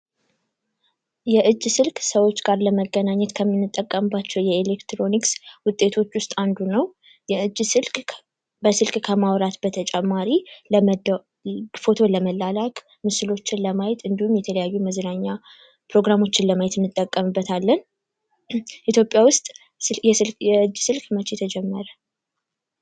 የእጅ ስልክ ሰዎች ጋር ለመገናኘት ከምንጠቀምባቸው የኤሌክትሮኒክስ ውጤቶች ውስጥ አንዱ ነው የእጅ ስልክ በስልክ ከማውራት በተጨማሪ ፎቶ ለመላላክ፥ ለማየት እንዲሁም የተለያዩ የመዝናኛ ምስሎችን ለማየት እንጠቀምበታለን። ኢትዮጵያ ውስጥ የእጅ ስልክ መቼ ተጀመረ?